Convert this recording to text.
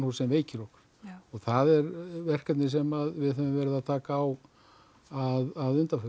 sem veikir okkur og það er verkefni sem við höfum verið að taka á að undanförnu